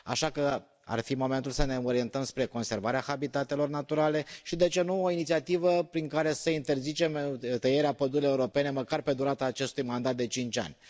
Așa că ar fi momentul să ne orientăm spre conservarea habitatelor naturale și, de ce nu, o inițiativă prin care să interzicem tăierea pădurilor europene măcar pe durata acestui mandat de cinci ani.